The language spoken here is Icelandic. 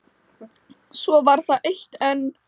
Svo var það eitt enn.